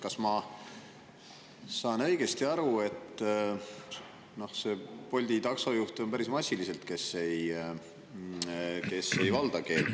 Kas ma saan õigesti aru, et on päris massiliselt Bolti taksojuhte, kes ei valda keelt?